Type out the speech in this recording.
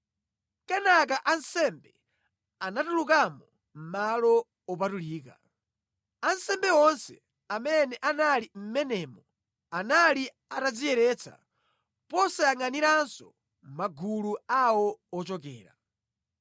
Kenaka ansembe anatulukamo mʼMalo Opatulika. Ansembe onse amene anali mʼmenemo anali atadziyeretsa posayangʼaniranso magulu awo ochokera.